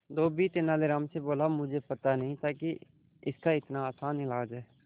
धोबी तेनालीराम से बोला मुझे पता नहीं था कि इसका इतना आसान इलाज है